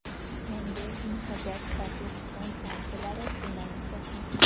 Yangi "Yunusobod" va "Turkiston" stansiyalari bundan mustasno.